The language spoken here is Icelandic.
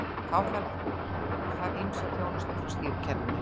Þá þarf það ýmsa þjónustu frá stýrikerfinu.